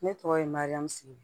Ne tɔgɔ ye mariamsigu